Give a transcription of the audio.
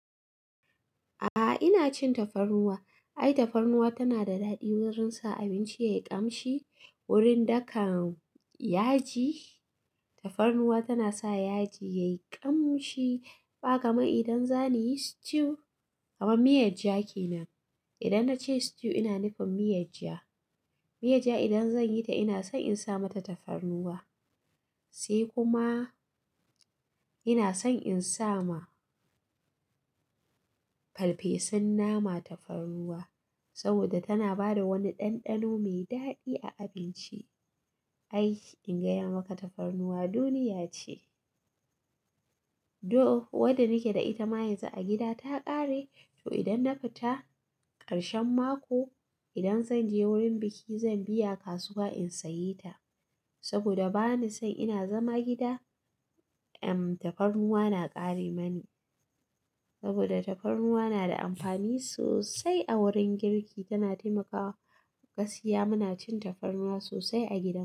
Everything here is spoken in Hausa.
A'a, ina cin tafarnuwa. Ai tafarnuwa tana da daɗi wurin sa abinci ya yi ƙamshi. Wurin dakan yaji, tafarnuwa tana sa yaji ya yi ƙamshi. Ba kamar idan zani yi stew, kamar miyar jaki nan. Idan na ce stew, ina nufin miyar ja. Miyar ja idan zan yi ta, ina son in sa mata tafarnuwa. Sai kuma ina son in sa ma farfesun nama tafarnuwa saboda tana ba da wani ɗanɗano mai daɗi a abinci. Ai in gaya maka tafarnuwa duniya ce. Do wadda nake da ita mayansa a gida ta ƙare, to idan na fita karshen mako, idan zan je wurin biki, zan biya kasuwa in sayi ta saboda bani son ina zama gida, em, tafarnuwa na ƙare mani saboda tafarnuwa na da amfani sosai a wurin girki, tana taimakawa gaskiya Muna cin tafarnuwa sosai a gida.